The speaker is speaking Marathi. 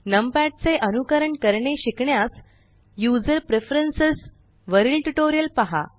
नम पॅड चे अनुकरण करणे शिकण्यास यूझर प्रेफरन्स वरील ट्यूटोरियल पहा